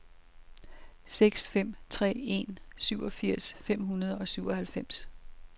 seks fem tre en syvogfirs fem hundrede og syvoghalvfems